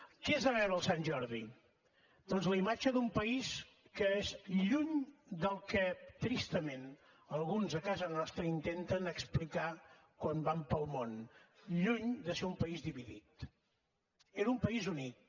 què es va veure per sant jordi doncs la imatge d’un país que és lluny del que tristament alguns a casa nostra intenten explicar quan van pel món lluny de ser un país dividit era un país unit